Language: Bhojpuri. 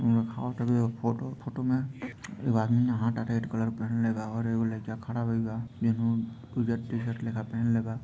ऊपर फोटो बाद में कर रहे है और इधर कर रहे है।